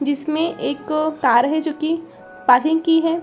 जिसमें में एक कार है जो कि पार्किंग की है।